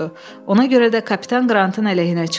Ona görə də kapitan Qrantın əleyhinə çıxdım.